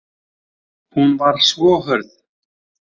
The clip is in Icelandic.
Hún var svo hörð.